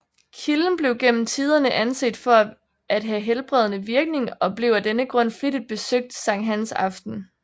Kilden blev gennem tiderne anset for at have helbredende virkning og blev af denne grund flittigt besøgt Sankt Hans aften